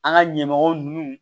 An ka ɲɛmɔgɔw ninnu